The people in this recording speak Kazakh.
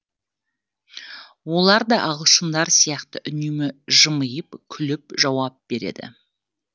оларда да ағылшындар сияқты үнемі жымиып күліп жауап береді